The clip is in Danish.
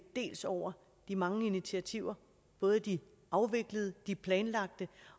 over de mange initiativer både de afviklede og de planlagte